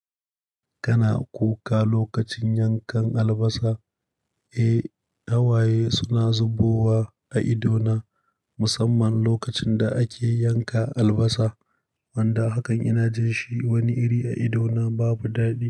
Kana kuka lokacin yankan albasa? Eh, hawaye suna zubowa a idona musamman lokacin da ake yanka albasa. Wanda hakan ina jin shi wani iri a idona babu daɗi.